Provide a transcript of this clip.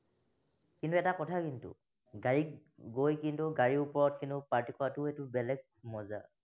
কিন্তু এটা কথা কিন্তু, গাড়ীত গৈ কিন্তু গাড়ীৰ ওপৰত কিন্তু party কৰাটোও এইটো বেলেগে মজা